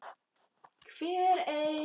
Hver ein